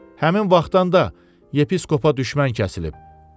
Həmin vaxtdan da yepiskopa düşmən kəsilib.